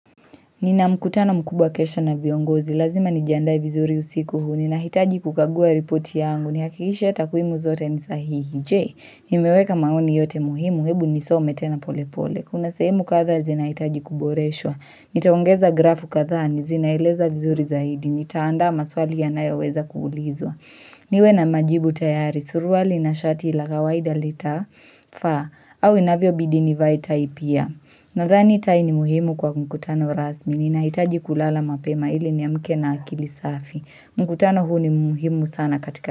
Nina mkutano mkubwa kesho na viongozi, lazima nijiandae vizuri usiku huu, ninahitaji kukagua ripoti yangu, nihakikishe ya takwimu zote ni sahihi, je, nimeweka maoni yote muhimu, hebu nisome tena pole pole, kuna sehemu kadhaa zinahitaji kuboreshwa, nitaongeza grafu kadhaa, zinaeleza vizuri zaidi, nitaandaa maswali yanayoweza kuulizwa. Niwe na majibu tayari, suruali na shati la kawaida litafaa au inavyobidi nivae tai pia. Nadhani tai ni muhimu kwa mkutano rasmi, ninahitaji kulala mapema ili niamke na akili safi. Mkutano huu ni muhimu sana katika.